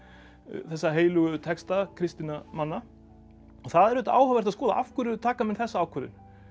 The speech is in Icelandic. þessa heilögu texta kristinna manna og það er auðvitað áhugavert að skoða af hverju taka menn þessa ákvörðun